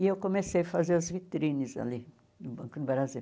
E eu comecei a fazer as vitrines ali no Banco do Brasil.